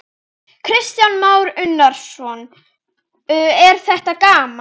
Kristján Már Unnarsson: Er þetta gaman?